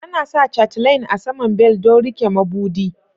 Ana sa chatelaine a saman bel don rike mabudi.